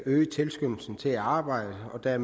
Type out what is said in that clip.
der er